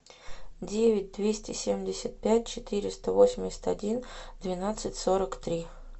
девять двести семьдесят пять четыреста восемьдесят один двенадцать сорок три